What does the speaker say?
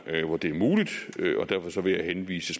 hvor det er muligt og derfor vil jeg henvise